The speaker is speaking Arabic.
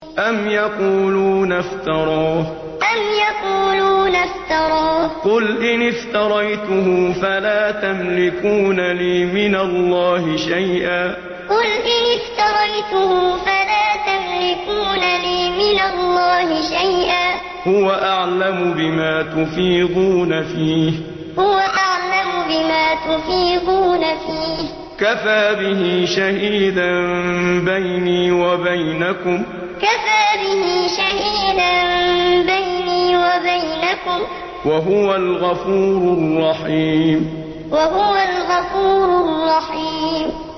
أَمْ يَقُولُونَ افْتَرَاهُ ۖ قُلْ إِنِ افْتَرَيْتُهُ فَلَا تَمْلِكُونَ لِي مِنَ اللَّهِ شَيْئًا ۖ هُوَ أَعْلَمُ بِمَا تُفِيضُونَ فِيهِ ۖ كَفَىٰ بِهِ شَهِيدًا بَيْنِي وَبَيْنَكُمْ ۖ وَهُوَ الْغَفُورُ الرَّحِيمُ أَمْ يَقُولُونَ افْتَرَاهُ ۖ قُلْ إِنِ افْتَرَيْتُهُ فَلَا تَمْلِكُونَ لِي مِنَ اللَّهِ شَيْئًا ۖ هُوَ أَعْلَمُ بِمَا تُفِيضُونَ فِيهِ ۖ كَفَىٰ بِهِ شَهِيدًا بَيْنِي وَبَيْنَكُمْ ۖ وَهُوَ الْغَفُورُ الرَّحِيمُ